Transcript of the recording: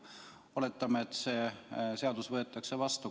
Oletame, et see seadus võetakse vastu.